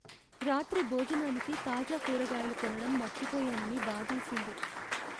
రాత్రి భోజనానికి తాజా కూరగాయలు కొనడం మర్చిపోయానని బాధేసింది.